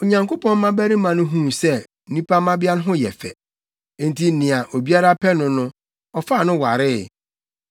Onyankopɔn mmabarima no huu sɛ nnipa mmabea no ho yɛ fɛ, nti nea obiara pɛ no no, ɔfaa no waree.